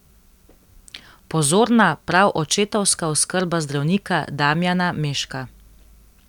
Pozorna, prav očetovska oskrba zdravnika Damijana Meška.